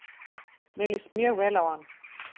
Mér líst mjög vel á hann